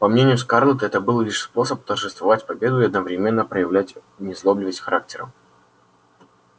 по мнению скарлетт это был лишь способ торжествовать победу и одновременно проявлять незлобивость характера